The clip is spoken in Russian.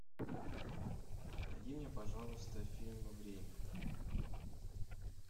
найди мне пожалуйста фильм время